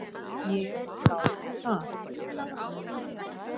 Ég þáði það.